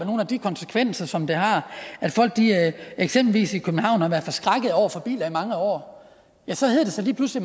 nogle af de konsekvenser som det har at folk eksempelvis i københavn har været forskrækket over biler i mange år så hedder det sig lige pludselig